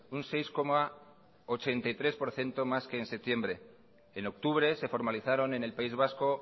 un seis coma ochenta y tres por ciento más que en septiembre en octubre se formalizaron en el país vasco